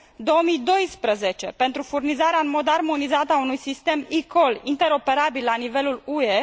2012 pentru furnizarea în mod armonizat a unui sistem eCall interoperabil la nivelul UE